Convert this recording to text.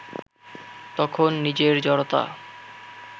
তখন নিজের জড়তা